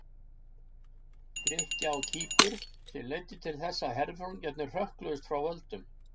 Grikkja á Kýpur, sem leiddi til þess að herforingjarnir hrökkluðust frá völdum.